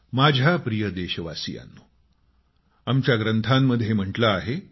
माझ्या प्रिय देशवासियांनो आमच्या ग्रंथांमध्ये म्हटले आहे